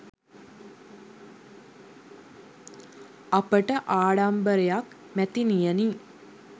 අපට ආඩම්බරයක් මැතිනියනි.